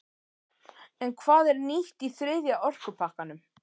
En hvað er nýtt í þriðja orkupakkanum?